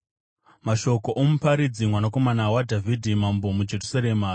Mashoko oMuparidzi, mwanakomana waDhavhidhi, mambo muJerusarema: